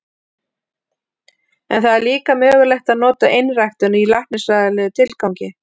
En það er líka mögulegt að nota einræktun í læknisfræðilegum tilgangi.